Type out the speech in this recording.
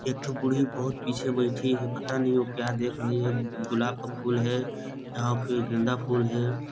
एक ठो बूढ़ी बहुत पीछे बैठी है पता नहीं वह क्या देख रही है गुलाब का फूल है या फिर गेंदा फूल है।